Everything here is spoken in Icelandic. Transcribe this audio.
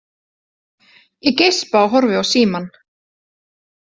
Ég geispa og horfi á símann.